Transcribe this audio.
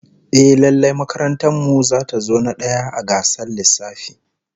Ehh, lallai makarantar mu zata zo na daya a gasar lissafi